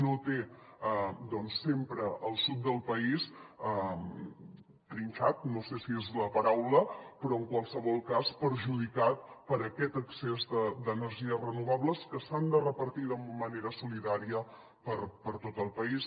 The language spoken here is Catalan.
no té sempre el sud del país trinxat no sé si és la paraula però en qualsevol cas perjudicat per aquest excés d’energies renovables que s’han de repartir de manera solidària per tot el país